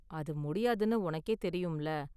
அது முடியாதுனு உனக்கே தெரியும்ல.